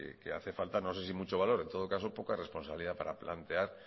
que hace falta no sé si mucho valor en todo caso poca responsabilidad para plantear